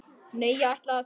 Nei, ég ætla að.